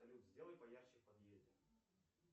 салют сделай поярче в подъезде